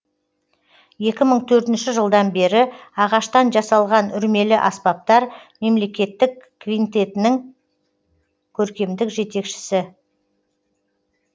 екі мың төртінші жылдан бері ағаштан жасалған үрмелі аспаптар мемлекеттік квинтетінің көркемдік жетекшісі